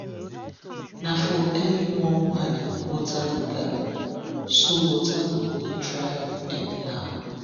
na for early momo i dey water the garden so water no go dey dry up anyhow.